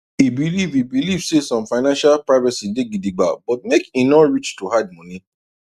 e believe e believe say some financial privacy day gidigba but make e no reach to hide money